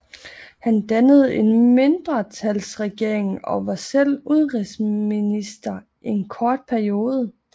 Han dannede en mindretalsregering og var selv udenrigsminister en kort periode